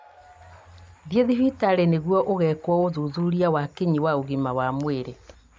Thiĩ thibitarĩ nĩguo ũgekwo ũthuthuria wa kinyi wa ũgima wa mwĩrĩ